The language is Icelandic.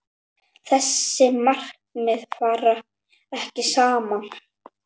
Þessi markmið fara ekki saman.